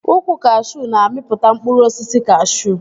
Ukwu kashuu na-amịpụta mkpụrụ osisi kashuu